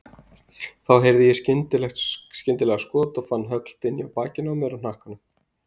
Þá heyrði ég skyndilega skot og fann högl dynja á bakinu á mér og hnakkanum.